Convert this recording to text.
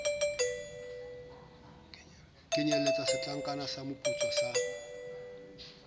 kenyeletsa setlankana sa moputso sa